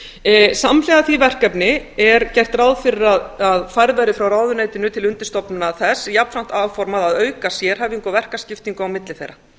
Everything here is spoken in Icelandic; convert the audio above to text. á samhliða því verkefni er gert ráð fyrir að færð verði frá ráðuneytinu til undirstofnana þess og jafnframt áformað að auka sérhæfingu á verkaskiptingu á milli þeirra